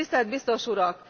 Tisztelt Biztos Urak!